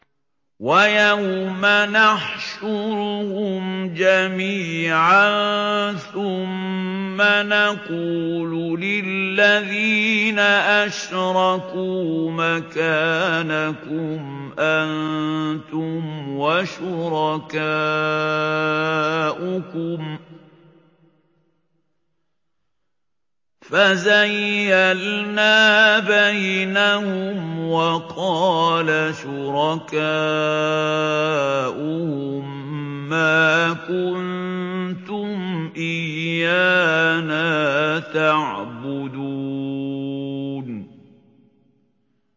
وَيَوْمَ نَحْشُرُهُمْ جَمِيعًا ثُمَّ نَقُولُ لِلَّذِينَ أَشْرَكُوا مَكَانَكُمْ أَنتُمْ وَشُرَكَاؤُكُمْ ۚ فَزَيَّلْنَا بَيْنَهُمْ ۖ وَقَالَ شُرَكَاؤُهُم مَّا كُنتُمْ إِيَّانَا تَعْبُدُونَ